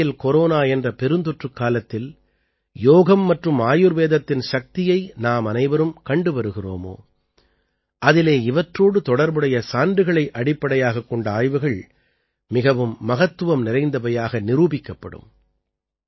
எந்த வகையில் கொரோனா என்ற பெருந்தொற்றுக் காலத்தில் யோகம் மற்றும் ஆயுர்வேதத்தின் சக்தியை நாமனைவரும் கண்டு வருகிறோமோ அதிலே இவற்றோடு தொடர்புடைய சான்றுகளை அடிப்படையாகக் கொண்ட ஆய்வுகள் மிகவும் மகத்துவம் நிறைந்தவையாக நிரூபிக்கப்படும்